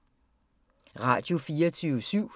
Radio24syv